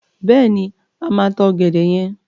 Bẹ́ẹ̀ni, a máa ta ọ̀gẹ̀dẹ̀ yen.